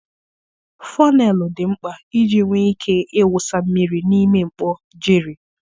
fọneelu dị mkpa iji nwee ike ịwụsa mmiri mmiri n'ime mkpọ jerry.